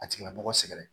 A tigila mɔgɔ sɛgɛn